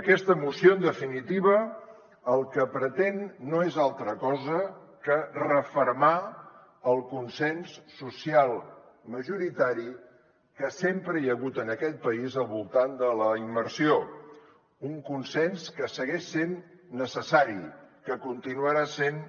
aquesta moció en definitiva el que pretén no és altra cosa que refermar el consens social majoritari que sempre hi ha hagut en aquest país al voltant de la immersió un consens que segueix sent necessari que continuarà sent